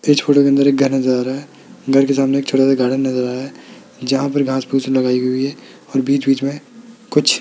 इस फोटो के अंदर एक घर नजर आ रहा है घर के सामने एक छोटा सा गार्डन नजर आ रहा है जहां पर घास -फुश लगाई हुई है और बीच-बीच में कुछ --